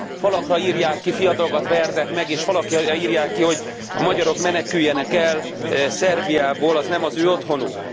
Falakra írják ki, fiatalokat vernek meg és falakra írják ki, hogy a magyarok meneküljenek el Szerbiából, az nem az ő otthonuk.